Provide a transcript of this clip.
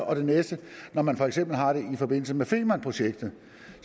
og det næste når man for eksempel har det i forbindelse med femernprojektet